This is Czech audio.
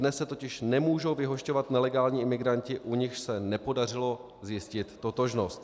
Dnes se totiž nemůžou vyhošťovat nelegální imigranti, u nichž se nepodařilo zjistit totožnost.